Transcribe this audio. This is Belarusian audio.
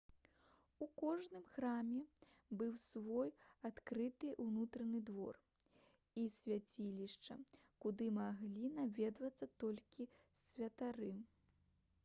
у кожным храме быў свoй адкрыты ўнутраны двор і свяцілішча куды маглі наведвацца толькі святары